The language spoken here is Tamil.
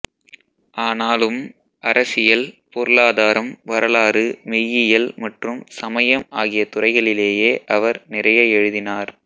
ஆனாலும் அரசியல் பொருளாதாரம் வரலாறு மெய்யியல் மற்றும் சமயம் ஆகிய துறைகளிலேயே அவர் நிறைய எழுதினார்